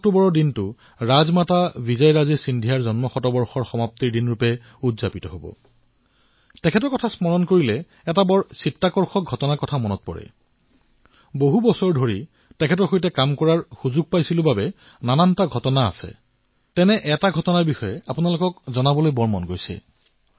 আজি মোৰ এটা কথা কবলৈ খুব মন গৈছে